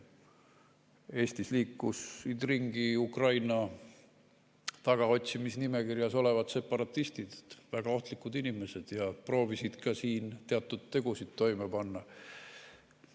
Eestis liikusid ringi Ukraina tagaotsimisnimekirjas olevad separatistid, väga ohtlikud inimesed, ja proovisid ka siin teatud tegusid toime panna.